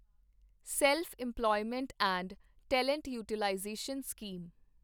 self employment and talent utilization scheme